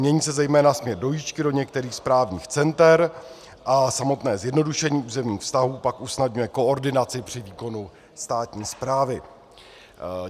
Mění se zejména směr dojížďky do některých správních center a samotné zjednodušení územních vztahů pak usnadňuje koordinaci při výkonu státní správy.